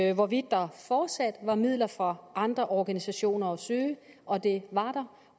af hvorvidt der fortsat var midler for andre organisationer at søge og det var der